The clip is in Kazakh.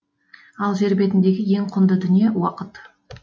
ал жер бетіндегі ең құнды дүние уақыт